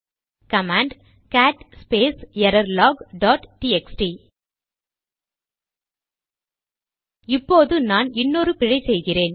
command cat space error log dot TXT இப்போது நான் இன்னொரு பிழை செய்கிறேன்